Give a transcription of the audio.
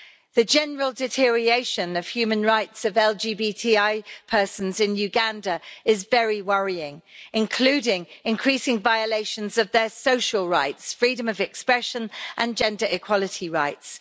The general deterioration of human rights of LGBTI persons in Uganda is very worrying, including increasing violations of their social rights, freedom of expression and gender equality rights.